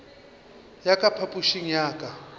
ya ka phapošing ya ka